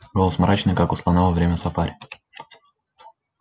голос мрачный как у слона во время сафари